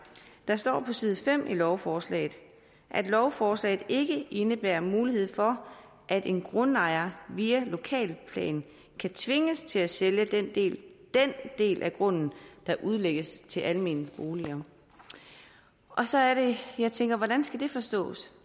der står på side fem i lovforslaget at lovforslaget ikke indebærer mulighed for at en grundejer via lokalplanen kan tvinges til at sælge den del den del af grunden der udlægges til almene boliger og så er det jeg tænker hvordan skal det forstås